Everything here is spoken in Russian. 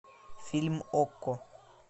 фильм окко